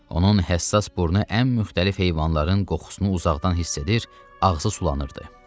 Onun həssas burnu ən müxtəlif heyvanların qoxusunu uzaqdan hiss edir, ağzı sulanırdı.